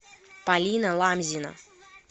полина ламзина